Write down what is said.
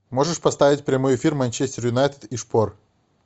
можешь поставить прямой эфир манчестер юнайтед и шпор